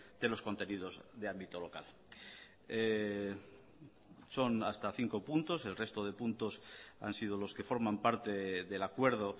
de los contenidos de ámbito local son hasta cinco puntos el resto de puntos han sido los que forman parte del acuerdo